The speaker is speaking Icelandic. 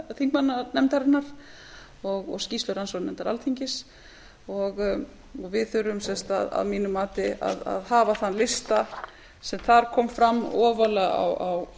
þingmannanefndarinnar og skýrslu rannsóknarnefndar alþingis og við þurfum að mínu mati að hafa þann lista sem þar kom fram ofarlega á